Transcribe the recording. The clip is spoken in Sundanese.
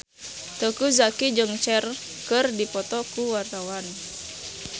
Teuku Zacky jeung Cher keur dipoto ku wartawan